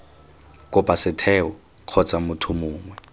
kopa setheo kgotsa motho mongwe